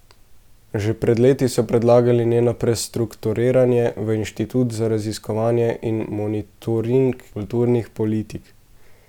Že pred leti so predlagali njeno prestrukturiranje v inštitut za raziskovanje in monitoring kulturnih politik.